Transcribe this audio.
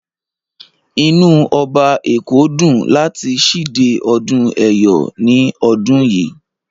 Inú Ọba èkó dùn láti síde ọdún ẹ̀yọ̀ ní ọdún yìí.